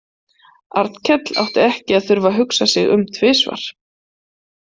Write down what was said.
Arnkell átti ekki að þurfa að hugsa sig um tvisvar.